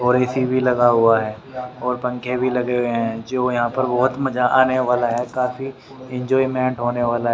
और ए_सी भी लगा हुआ है और पंखे भी लगे हुए हैं जो यहां पर बहुत मजा आने वाला है काफी एंजॉयमेंट होने वाला है।